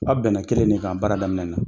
Aw bɛnna kelen de k'an baara daminɛ na